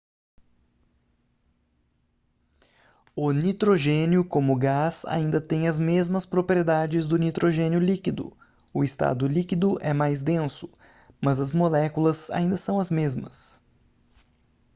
o nitrogênio como gás ainda tem as mesmas propriedades do nitrogênio líquido o estado líquido é mais denso mas as moléculas ainda são as mesmas